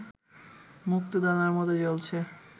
মুক্তোদানার মতো জ্বলছে